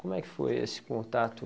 Como é que foi esse contato?